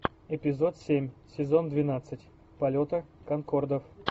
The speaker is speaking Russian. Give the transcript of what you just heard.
эпизод семь сезон двенадцать полета конкордов